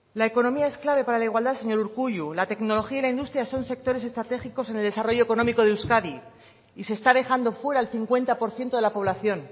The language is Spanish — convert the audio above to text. la economía es clave para la igualdad señor urkullu la tecnología y la industria son sectores estratégicos en el desarrollo económico de euskadi y se está dejando fuera al cincuenta por ciento de la población